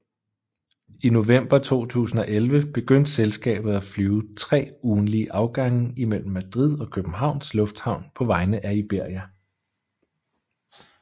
I november 2011 begyndte selskabet at flyve 3 ugentlige afgange i mellem Madrid og Københavns Lufthavn på vegne af Iberia